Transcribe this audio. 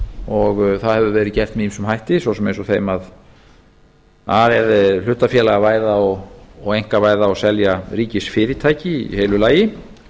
og það hefur verið gert með ýmsum hætti svo sem eins og þeim að hlutafélagavæða og einkavæða og selja ríkisfyrirtæki í heilu lagi